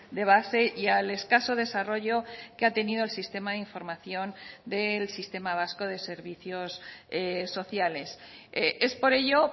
de base y al escaso desarrollo que ha tenido el sistema de información del sistema vasco de servicios sociales es por ello